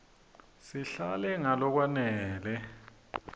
silale ngalokwanele